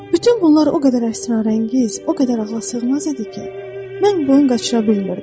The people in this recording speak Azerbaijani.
Bütün bunlar o qədər əsrarəngiz, o qədər ağılasığmaz idi ki, mən boyun qaçıra bilmirdim.